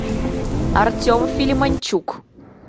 артем филимончук